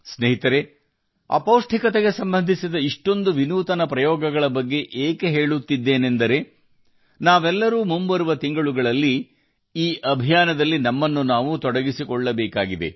ಸ್ನೇಹಿತರೇ ಅಪೌಷ್ಟಿಕತೆಗೆ ಸಂಬಂಧಿಸಿದ ಹಲವಾರು ವಿನೂತನ ಪ್ರಯೋಗಗಳ ಬಗ್ಗೆ ನಾನು ನಿಮಗೆ ಹೇಳುತ್ತಿದ್ದೇನೆ ಏಕೆಂದರೆ ಮುಂಬರುವ ತಿಂಗಳಲ್ಲಿ ನಾವೆಲ್ಲರೂ ಈ ಅಭಿಯಾನಕ್ಕೆ ಸೇರಬೇಕಾಗಿದೆ